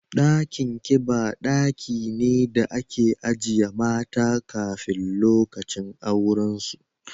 Dakin kiba daki ne da ake ajiye mata kafin lokacin auren su